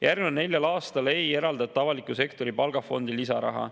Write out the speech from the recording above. Järgmisel neljal aastal ei eraldata avaliku sektori palgafondi lisaraha.